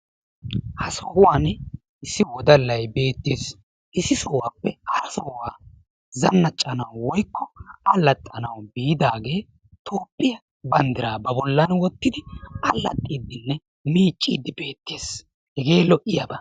Ha sohuwaan issi wodallay beettees. issi sohuwappe hara sohuwa zanaccanawu woykko allaxxanawu biidaage Toophiyaa banddira ba bollan wottidi allaxxidenne miiccide beettees. Hege lo''iyaaba.